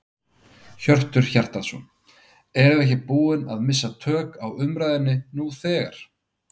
Hjörtur Hjartarson: Erum við ekki búin að missa tök á umræðunni nú þegar?